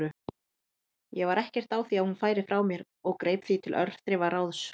Ég var ekkert á því að hún færi frá mér og greip því til örþrifaráðs.